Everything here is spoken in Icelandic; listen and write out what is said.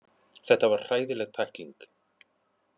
Þetta var hræðileg tækling.